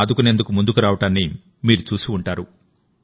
రోగులను ఆదుకునేందుకు ముందుకు రావడాన్ని మీరు చూసి ఉంటారు